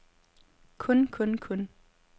kun kun kun